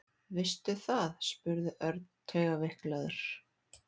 Veistu það? spurði Örn taugaveiklaður.